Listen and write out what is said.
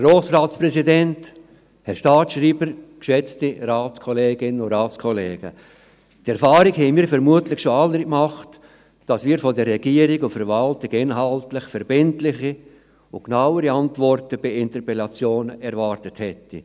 Die Erfahrung haben hier vermutlich schon andere gemacht, dass wir von der Regierung und Verwaltung inhaltlich verbindliche und genauere Antworten auf Interpellationen erwartet hätten.